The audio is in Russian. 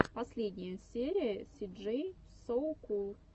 последняя серия си джей соу кул